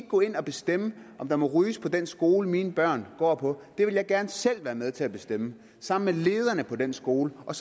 gå ind og bestemme om der må ryges på den skole mine børn går på det vil jeg gerne selv være med til at bestemme sammen med lederne på den skole og